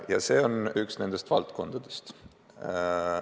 Ja see on üks nendest valdkondadest.